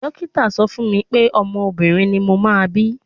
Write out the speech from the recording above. Dókítà sọ fún mi pé ọmọ obìnrin ni mo máa bí.